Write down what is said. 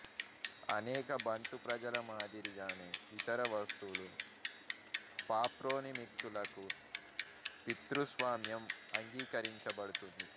అనేక బంటు ప్రజల మాదిరిగానే ఇతర వస్తువులు ప్రాప్రోనిమిక్సులకు పితృస్వామ్యం అంగీకరించబడుతుంది